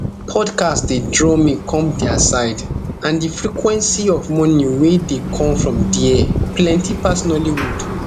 podcast dey draw me come dia side and di frequency of money wey dey come from dia plenti pass nollywood